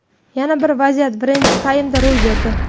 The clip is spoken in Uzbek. Yana bir vaziyat birinchi taymda ro‘y berdi.